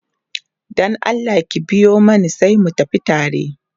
Dan Allah ki biyo Mani sai mu tafi tare